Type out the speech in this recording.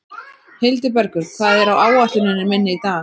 Hildibergur, hvað er á áætluninni minni í dag?